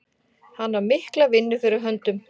Hann á mikla vinnu fyrir höndum.